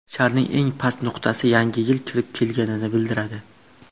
Sharning eng past nuqtasi Yangi yil kirib kelganini bildiradi.